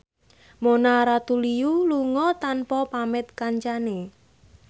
Mona Ratuliu lunga tanpa pamit kancane